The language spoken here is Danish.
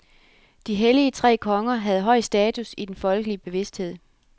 De hellige tre konger havde høj status i den folkelige bevidsthed.